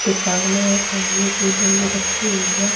दुकान है पानी कि रखी हुई है